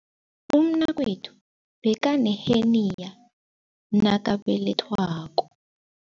Umnakwethu bekaneheniya nakabelethwako.